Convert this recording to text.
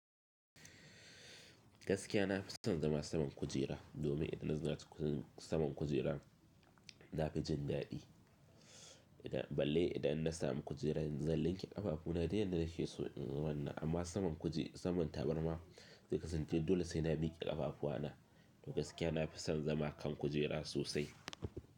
Gaskiya na fi son zama saman kujera domin idan na zama saman kujera na fi jin daɗi. Balle idan na sami kujera zan linke ƙafafu na dai na dake so in zama nan. Amma saman tabarma zai kasance dole sai na miki ƙafafuwa na. To gaskiya na fi son zama kan kujera sosai.